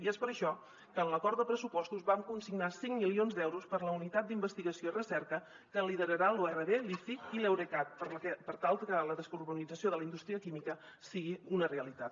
i és per això que en l’acord de pressupostos vam consignar cinc milions d’euros per a la unitat d’investigació i recerca que lideraran la urv l’iciq i l’eurecat per tal que la descarbonització de la indústria química sigui una realitat